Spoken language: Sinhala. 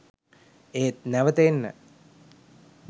ඒත් නැවත එන්න